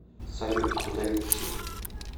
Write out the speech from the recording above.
салют куда идти